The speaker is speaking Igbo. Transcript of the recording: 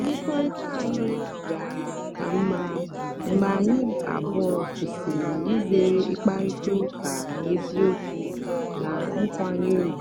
mmekọrịta anyị bịara ka mma mgbe anyị abụọ kwụsịrị izere ịkparịta ụka n'eziokwu na nkwanye ùgwù.